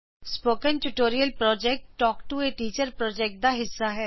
spoken tutorial project talk to a teacher project ਦਾ ਹਿੱਸਾ ਹੈ